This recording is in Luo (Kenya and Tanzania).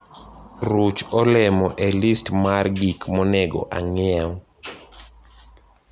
ruch olemo e list mar gik monego ang'iew.